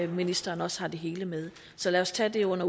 ministeren også har det hele med så lad os tage det under